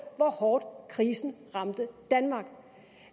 hvor hårdt krisen ramte danmark